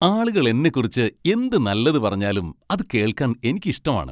ആളുകൾ എന്നെക്കുറിച്ച് എന്ത് നല്ലത് പറഞ്ഞാലും അത് കേൾക്കാൻ എനിക്ക് ഇഷ്ടമാണ്.